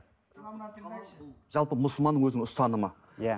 жалпы мұсылманның өзінің ұстанымы иә